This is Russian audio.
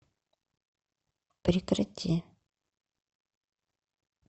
прекрати